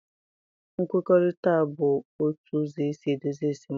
Nkwekọrịta bụ otu ụzọ esi edozi esemokwu.